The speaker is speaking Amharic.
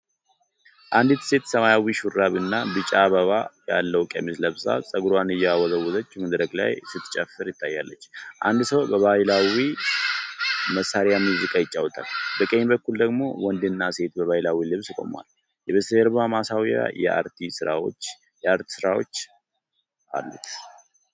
አንዲት ሴት ሰማያዊ ሹራብ እና ቢጫ አበባ ያለው ቀሚስ ለብሳ ፀጉሯን እየወዘወዘች መድረክ ላይ ስትጨፍር ትታያለች። አንድ ሰው በባህላዊ መሣሪያ ሙዚቃ ይጫወታል፣ በቀኝ በኩል ደግሞ ወንድና ሴት በባህላዊ ልብስ ቆመዋል። የበስተጀርባው ማስዋቢያ የአርት ስራዎች አሉት።